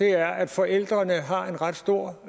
er at forældrene har en ret stor